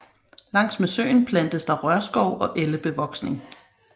Langs med søen plantes der rørskov og ellebevoksning